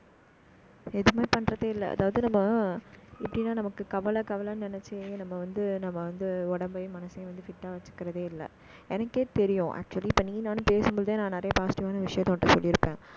எதுவுமே பண்றதே இல்லை. அதாவது நம்ம, இப்படித்தான் நமக்கு கவலை கவலைன்னு நினைச்சு நம்ம வந்து~ நம்ம வந்து, உடம்பையும், மனசையும் வந்து, fit ஆ வைக்கிறதே இல்லை. எனக்கே தெரியும். actually இப்ப நீயும், நானும் பேசும்போதே நான் நிறைய positive ஆன விஷயத்த உன்கிட்ட சொல்லி இருப்பேன்